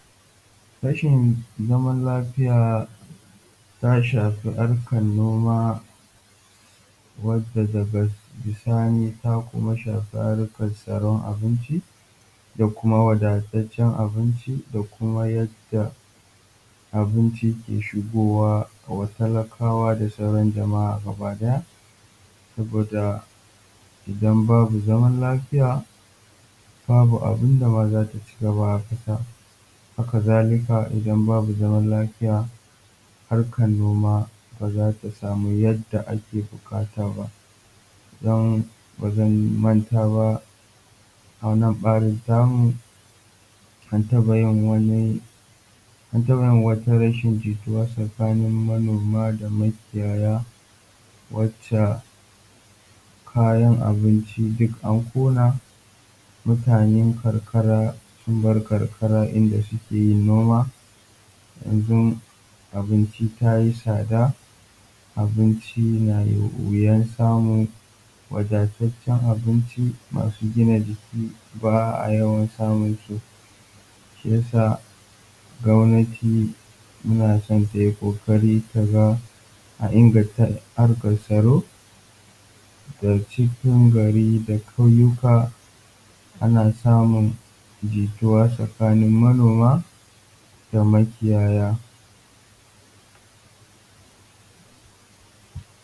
Rashin zaman lafiya ta shafi harkar noma wadda daga bisani ta kuma shafi harkar tsaron abinci da kuma wadataccen abinci da kuma yadda abinci ke shigowa wa talakawa da sauran jama’a gaba ɗaya. Saboda idan babu zaman lafiya babu abin da ba za ta cigaba ba a ƙasa haka zalika idan babu zama lafiya harkar noma ba za ta samu yadda ake buƙata ba. Don ba zan manta ba a wannan ɓarin ta mu an taɓa yin wani an taɓa yin wata rashin jituwa tsakanin manoma da makiyaya wacce kayan abinci duk an ƙona mutanen karkara sun bar karkara inda suke yin noma yanzu abinci ta yi tsada, abinci na yi wuyan samu, wadataccen abinci masu gina jiki ba a yawan samun su shi ya sa gwamnati muna son ta yi ƙoƙari ta ga an inganta harkar tsaro da cikin gari da ƙauyuka ana samun jituwa tsakanin manoma da makiyaya.